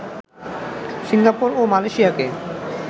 Singapore ও মালয়েশিয়াকে